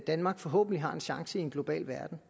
danmark forhåbentlig har en chance i en global verden